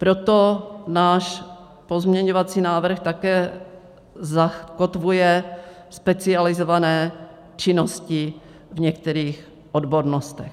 Proto náš pozměňovací návrh také zakotvuje specializované činnosti v některých odbornostech.